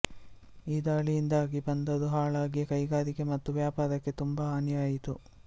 ಈ ದಾಳಿಯಿಂದಾಗಿ ಬಂದರು ಹಾಳಾಗಿ ಕೈಗಾರಿಕೆ ಮತ್ತು ವ್ಯಾಪಾರಕ್ಕೆ ತುಂಬ ಹಾನಿಯಾಯಿತು